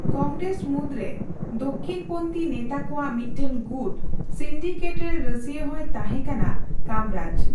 ᱠᱚᱝᱜᱨᱮᱥ ᱢᱩᱫᱨᱮ ᱫᱚᱠᱷᱤᱱᱯᱚᱱᱛᱷᱤ ᱱᱮᱛᱟ ᱠᱚᱣᱟᱜ ᱢᱤᱫᱴᱟᱝ ᱜᱩᱴ, ᱥᱤᱱᱰᱤᱠᱮᱴᱼᱨᱮᱱ ᱨᱟᱹᱥᱭᱟᱹ ᱦᱚᱸᱭ ᱛᱟᱦᱮᱸ ᱠᱟᱱᱟ ᱠᱟᱢᱨᱟᱡ ᱾